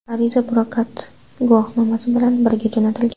Ariza prokat guvohnomasi bilan birga jo‘natilgan.